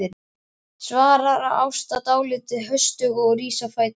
svarar Ásta dálítið höstug og rís á fætur.